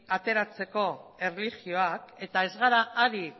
ateratzeko erlijioak eta ez gara ari